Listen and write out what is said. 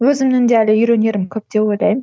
өзімнің де әлі үйренерім көп деп ойлаймын